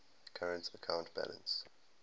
current account balance